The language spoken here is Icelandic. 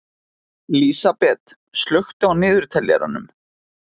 Lísabet, slökktu á niðurteljaranum.